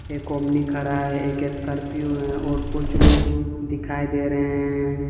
एक ओमनी खड़ा है एक स्कॉर्पियो है और कुछ लोग दिखाई दे रहे हैं।